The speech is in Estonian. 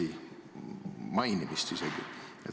Isegi mainitud ei ole.